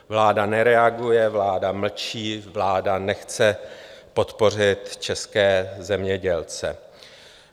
Vláda nereaguje, vláda mlčí, vláda nechce podpořit české zemědělce.